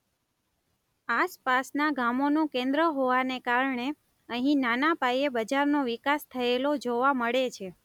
આસપાસનાં ગામોનું કેન્દ્ર હોવાને કારણે અહીં નાના પાયે બજારનો વિકાસ થયેલો જોવા મળે છે.